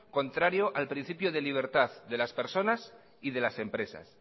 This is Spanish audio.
contrario al principio de libertad de las personas y de las empresas